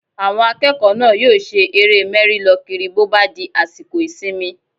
Àwọn akẹ́kọ̀ọ́ náà yóò ṣe eré mẹ́rí-lọ-kiri bó bá di àsìkò ìsinmi